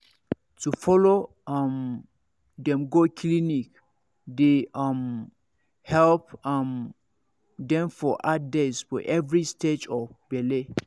to follow um dem go clinic dey um help um dem for hard days for every stage of bele